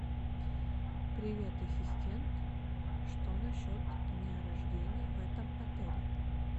привет ассистент что насчет дня рождения в этом отеле